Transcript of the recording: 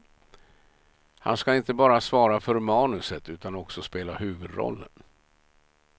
Han ska inte bara svara för manuset utan också spela huvudrollen.